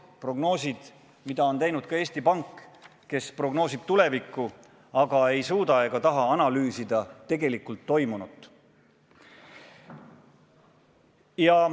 Need prognoosid on teinud ka Eesti Pank, kes prognoosib tulevikku, aga ei suuda ega taha analüüsida tegelikult toimunut.